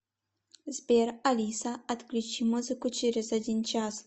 сбер алиса отключи музыку через один час